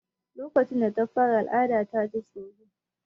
Lokacin da ta fara al'ada ta ji tsoro.